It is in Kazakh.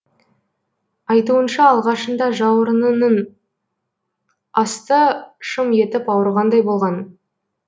айтуынша алғашында жауырынының асты шым етіп ауырғандай болған